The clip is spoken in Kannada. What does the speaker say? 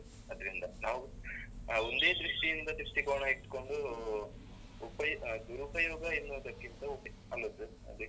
ಅದ್ರಿಂದ. ನಾವ್ ಅಹ್ ಒಂದೇದೃಷ್ಟಿಯಿಂದ ದೃಷ್ಟಿಕೋನ ಇಟ್ಕೊಂಡು ಉಪಯೋಗ ಅಹ್ ದುರುಪಯೋಗ ಎನ್ನುವುದಕ್ಕಿಂತ ಅಲ್ವಾ sir ಅದೇ.